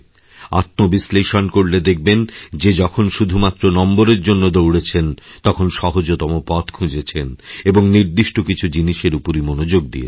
আত্মবিশ্লেষণ করলে দেখবেন যে যখন শুধুমাত্র নম্বরের জন্য দৌড়েছেন তখন সহজতমপথ খুঁজেছেন এবং নির্দিষ্ট কিছু জিনিসের উপরই মনোযোগ দিয়েছেন